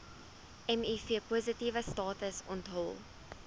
mivpositiewe status onthul